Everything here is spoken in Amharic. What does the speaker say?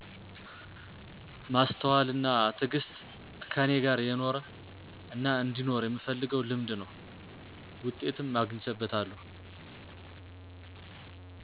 ማስተዋል አና ትግስት ከኔ ጋር የኖረ አናአንዲኖር የምፈልገው ልምድ ነው። ውጤትም አግቸበታለሁ።